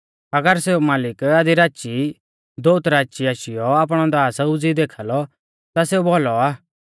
अगर सेऊ मालिक आधी राची दोउत राची ई आशीयौ आपणौ दास उज़ीई देखा लौ ता सेऊ भौलौ आ